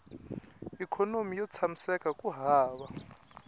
ikhonomi yo tshamiseka ku hava